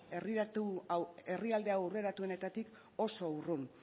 herrialde aurreratuenetatik oso urrun